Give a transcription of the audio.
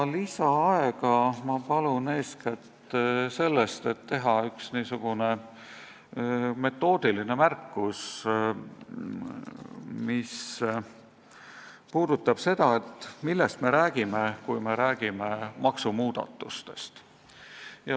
Lisaaega ma palun eeskätt selleks, et teha üks metoodiline märkus, mis puudutab seda, et millest me räägime, kui me räägime maksumuudatustest.